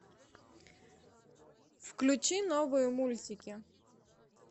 включи новые мультики